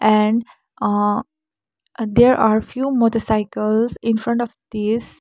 and uh uh there are few motorcycles in front of this.